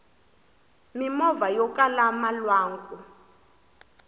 mimovha yokala malwanku